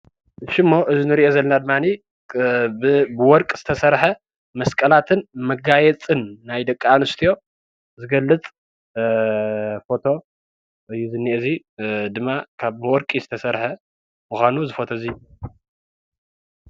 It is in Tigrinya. እሺ እሞ እዚ እንርእዮ ዘለና ድማኒ ብወርቂ ዝተሰርሐ መስቀላትን መጋየፅን ናይ ደቂ ኣንስትዮ ዝገልፅ ፎቶ እዩ ዝኒአ እዙይ ድማ ካብ ብወርቂ ዝተሰርሐ ምኳኑ እዚ ፎቶ እዙይ።